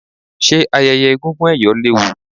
ṣe ayẹyẹ egúngún ẹ̀yọ̀ léwu?